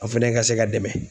An' fɛnɛ ka se ka dɛmɛ